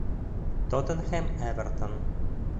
тоттенхэм эвертон